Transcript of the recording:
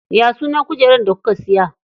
Ya sunan kujerar da kuka siya?